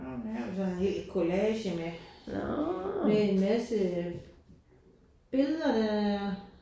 Hvad har vi så her collage med med en masse billeder der er